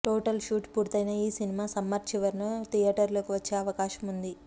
total shoot పూర్తయిన ఈ cinema summer చివర్న థియేటర్లలోకి వచ్చే అవకాశం వుంది